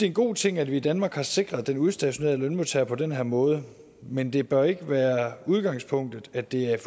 en god ting at vi i danmark har sikret den udstationerede lønmodtager på den her måde men det bør ikke være udgangspunktet at det er